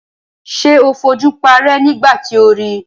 Ṣé o fojú paárẹ́ nígbà tí o ri?